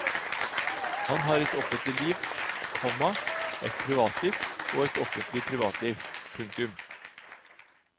Han har et offentlig liv, komma et privatliv og et offentlig privatliv. punktum